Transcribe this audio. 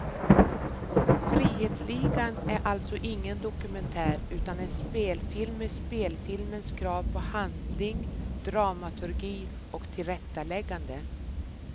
Frihetsligan är alltså ingen dokumentär, utan en spelfilm med spelfilmens krav på handling, dramaturgi och tillrättaläggande.